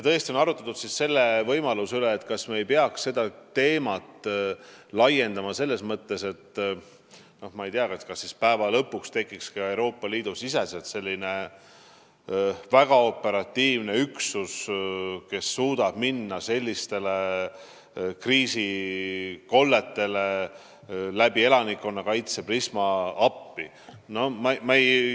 On arutatud, kas me ei peaks seda teemat laiendama, nii et Euroopa Liidu sees tekiks väga operatiivselt tegutsev üksus, kes suudaks sellistesse kriisikolletesse elanikkonnakaitse korras appi minna.